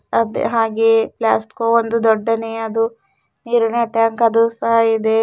ಅದೇ ಹಾಗೆ ಫ್ಲಾಸ್ಕೋ ಅದು ಒಂದು ದೊಡ್ಡನೆ ಅದು ನೀರಿನ ಟ್ಯಾಂಕ್ ಅದು ಸಹ ಇದೆ.